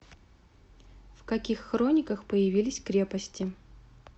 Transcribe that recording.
в каких хрониках появились крепости